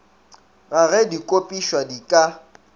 ga ge dikopišwa di ka